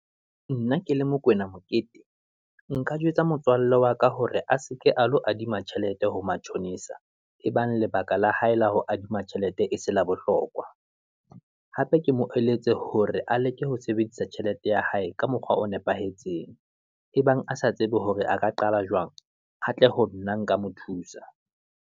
Nna ke le Mokoena Mokete, nka jwetsa motswalle wa ka hore a seke a lo adima tjhelete ho matjhonisa, ebang lebaka la hae la ho adima tjhelete e se la bohlokwa, hape ke mo eletse hore a leke ho sebedisa tjhelete ya hae, ka mokgwa o nepahetseng. Ebang a sa tsebe hore a ka qala jwang, a tle ho nna nka mo thusa.